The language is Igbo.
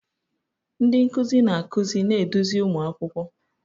Ndị nkuzi na-akụzi na-eduzi ụmụ akwụkwọ.